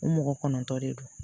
U mɔgɔ kɔnɔntɔ de don